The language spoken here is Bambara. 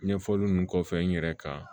Ɲɛfɔli nunnu kɔfɛ n yɛrɛ kan